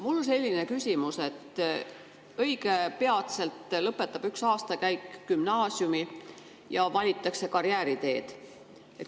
Mul on selline küsimus, et õige pea lõpetab üks aastakäik gümnaasiumi ja valitakse karjääriteed.